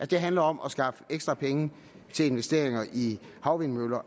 det handler om at skaffe ekstra penge til investeringer i havvindmøller